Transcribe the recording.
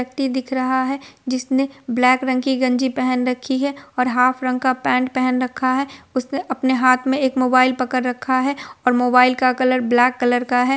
व्यक्ति दिख रहा है जिसने ब्लैक कलर की गंजी पहन रखी है और हाफ रंग का पेंट पेहन रखा है| उसने अपने हाथ में एक मोबाइल पकड़ रखा है और मोबाइल का कलर ब्लैक कलर का है।